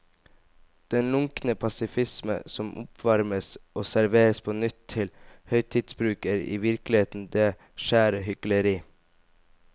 Den lunkne passifisme som oppvarmes og serveres på nytt til høytidsbruk er i virkeligheten det skjære hykleri.